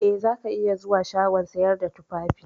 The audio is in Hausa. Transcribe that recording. Eh, zaka iya zuwa shagon sayar da tufafi.